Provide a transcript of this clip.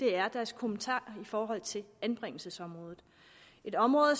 er deres kommentarer i forhold til anbringelsesområdet et område